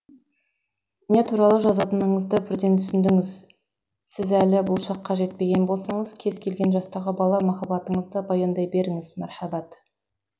не туралы жазатыныңызды бірден түсіндіңіз сіз әлі бұл шаққа жетпеген болсаңыз кез келген жастағы бала махаббатыңызды баяндай беріңіз мәрхаббат